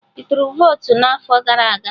Ị tụrụ votu n'afọ gara aga?